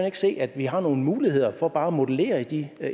ikke se at vi har nogle muligheder for bare at modellere de